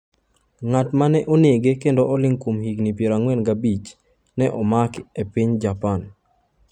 Ng’at ma ne onege kendo oling’ kuom higni 45, ne omake e piny Japan .